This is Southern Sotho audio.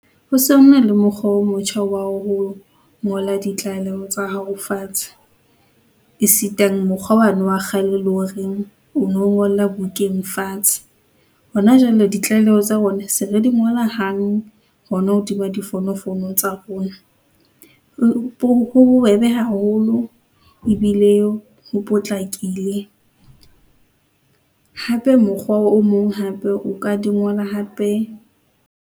Ho se ho na le mokgwa o motjha wa ho ngola ditlaleho tsa hao fatshe. Esitane mokgwa wane wa kgale le horeng o no ngola bukeng fatshe. Hona jwale ditlaleho tsa rona se re di ngola hang hona hodima difonofono tsa rona. Ho bobebe haholo ebile ho potlakile, hape mokgwa o mong hape o ka di ngola hape.